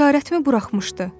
Bir işarətmi buraxmışdı?